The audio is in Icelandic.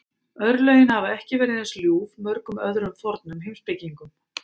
Örlögin hafa ekki verið eins ljúf mörgum öðrum fornum heimspekingum.